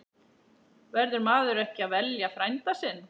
Verður maður ekki að velja frænda sinn?